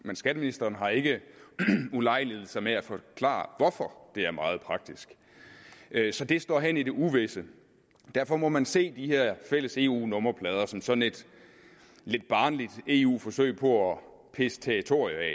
men skatteministeren har ikke ulejliget sig med at forklare hvorfor det er meget praktisk så det står hen i det uvisse derfor må man se de her fælles eu nummerplader som sådan et lidt barnligt eu forsøg på at pisse territoriet af